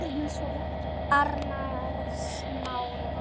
Arnarsmára